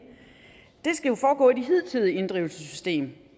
skal jo foregå i det hidtidige inddrivelsessystem